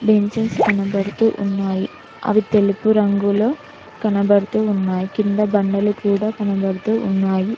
Benches కనబడుతూ ఉన్నాయి అవి తెలుపు రంగులో కనబడుతూ ఉన్నాయి కింద బండలు కూడా కనబడుతూ ఉన్నాయి.